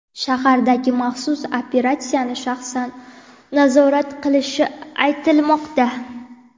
shahardagi maxsus operatsiyani shaxsan nazorat qilishi aytilmoqda.